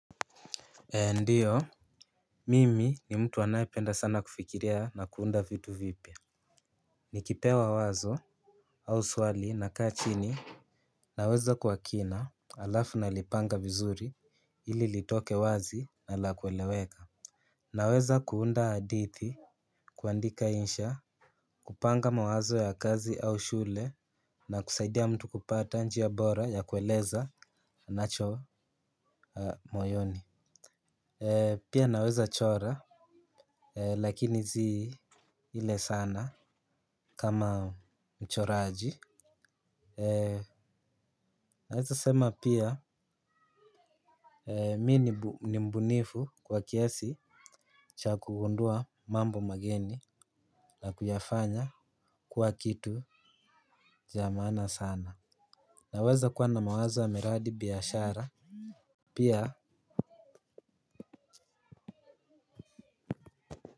Ndiyo mimi ni mtu anayependa sana kufikiria na kuunda vitu vipya. Nikipewa wazo au swali nakaa chini. Nawaza kwa kina halafu nalipanga vizuri ili litoke wazi na la kueleweka. Naweza kuunda hadithi kuandika insha kupanga mawazo ya kazi au shule na kusaidia mtu kupata njia bora ya kueleza anacho moyoni. Pia naweza chora lakini si ile sana kama mchoraji. Naweza sema pia mimi ni mbunifu kwa kiasi cha kugundua mambo mageni na kuyafanya kuwa kitu cha maana sana naweza kuwa na mawazo ya miradi biashara pia.